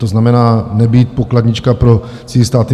To znamená, nebýt pokladnička pro cizí státy.